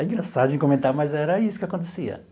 É engraçado de comentar, mas era isso que acontecia.